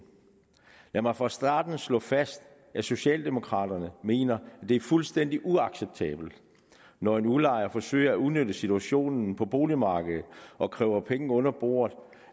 lad mig fra starten slå fast at socialdemokraterne mener at det er fuldstændig uacceptabelt når en udlejer forsøger at udnytte situationen på boligmarkedet og kræver penge under bordet